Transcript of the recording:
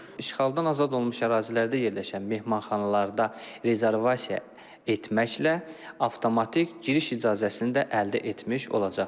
İşğaldan azad olunmuş ərazilərdə yerləşən mehmanxanalarda rezervasiya etməklə avtomatik giriş icazəsini də əldə etmiş olacaqlar.